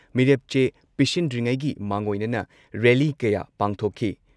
ꯃꯤꯑꯣꯏ ꯀꯌꯥꯅ ꯃꯤꯔꯦꯞ ꯆꯦ ꯄꯤꯁꯤꯟꯗ꯭ꯔꯤꯉꯩꯒꯤ ꯃꯥꯡꯑꯣꯏꯅꯅ ꯔꯦꯜꯂꯤ ꯀꯌꯥ ꯄꯥꯡꯊꯣꯛꯈꯤ ꯫